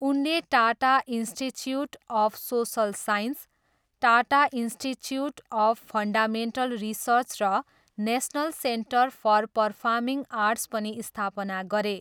उनले Tata institute of social science, Tata institute of fundamental research र national centre for performing arts पनि स्थापना गरे।